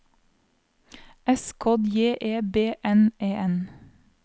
S K J E B N E N